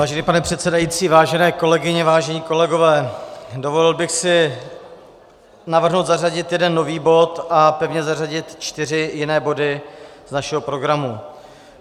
Vážený pane předsedající, vážené kolegyně, vážení kolegové, dovolil bych si navrhnout zařadit jeden nový bod a pevně zařadit čtyři jiné body z našeho programu.